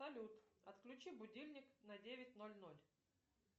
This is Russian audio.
салют отключи будильник на девять ноль ноль